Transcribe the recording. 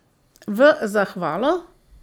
V zahvalo?